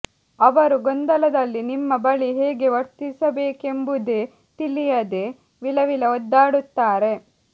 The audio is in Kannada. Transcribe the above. ಅವರು ಗೊಂದಲದಲ್ಲಿ ನಿಮ್ಮ ಬಳಿ ಹೇಗೆ ವರ್ತಿಸಬೇಕೆಂಬುದೇ ತಿಳಿಯದೆ ವಿಲವಿಲ ಒದ್ದಾಡುತ್ತಾರೆ